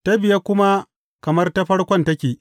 Ta biye kuma kamar ta farkon take.